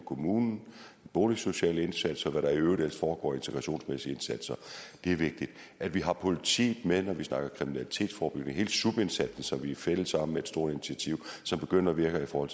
kommunen boligsociale indsatser og hvad der i øvrigt ellers foregår af integrationsmæssige indsatser er vigtigt at vi har politiet med når vi snakker kriminalitetsforebyggelse hele sub indsatsen som vi er fælles om med et stort initiativ som begynder at virke i forhold